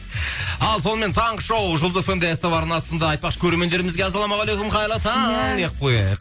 ал сонымен таңғы шоу жұлдыз эф эм де ств арнасында айтпақшы көрермендерімізге ассалаумағалейкум қайырлы таң деп қояйық